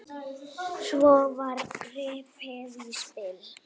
Svo var gripið í spil.